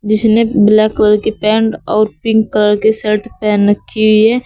जिसने black colour की pant और पिंक कलर की शर्ट पेहन रखी हुई है।